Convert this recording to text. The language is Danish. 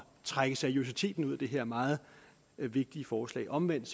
trække seriøsiteten ud af det her meget vigtige forslag omvendt